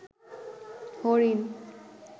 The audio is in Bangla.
হরিণ